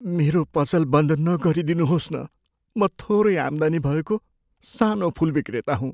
मेरो पसल बन्द नगरिदिनुहोस् न। म थोरै आम्दानी भएको सानो फुल विक्रेता हुँ।